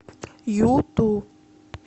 юту